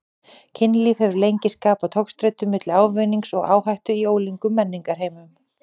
Kynlíf hefur lengi skapað togstreitu milli ávinnings og áhættu í ólíkum menningarheimum.